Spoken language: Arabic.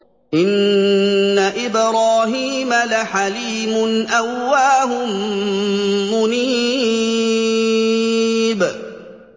إِنَّ إِبْرَاهِيمَ لَحَلِيمٌ أَوَّاهٌ مُّنِيبٌ